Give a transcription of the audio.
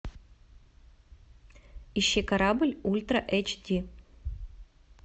ищи корабль ультра эйч ди